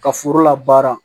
Ka foro la baara